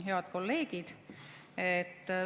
Head kolleegid!